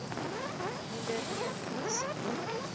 ondernemings